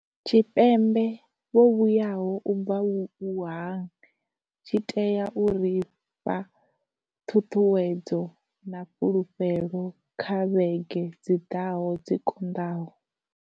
Tshipembe vho vhuyaho u bva Wuhan tshi tea u ri fha ṱhuṱhuwedzo na fhulufhelo kha vhege dzi ḓaho dzi konḓaho.